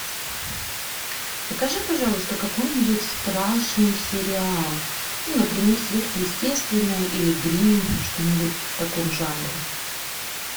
покажи пожалуйста какой нибудь страшный сериал ну например сверхъестественное или гримм что нибудь в таком жанре